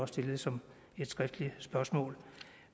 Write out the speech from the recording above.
stillet som et skriftligt spørgsmål